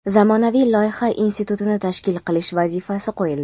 zamonaviy loyiha institutini tashkil qilish vazifasi qo‘yildi.